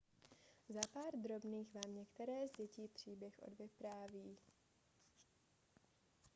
za pár drobných vám některé z dětí příběh odvypráví